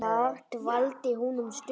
Þar dvaldi hún um stund.